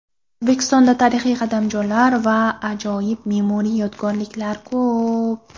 O‘zbekistonda tarixiy qadamjolar va ajoyib me’moriy yodgorliklar ko‘p.